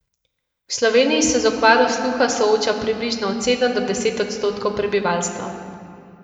V Sloveniji se z okvaro sluha sooča približno od sedem do deset odstotkov prebivalstva.